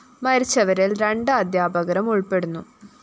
മരിച്ചവരില്‍ രണ്ട് അധ്യാപകരും ഉള്‍പ്പെടുന്നു